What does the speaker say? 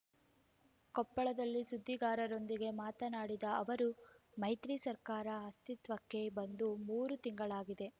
ಕೊಪ್ಪಳದಲ್ಲಿ ಸುದ್ದಿಗಾರರೊಂದಿಗೆ ಮಾತನಾಡಿದ ಅವರು ಮೈತ್ರಿ ಸರ್ಕಾರ ಅಸ್ತಿತ್ವಕ್ಕೆ ಬಂದು ಮೂರು ತಿಂಗಳಾಗಿದೆ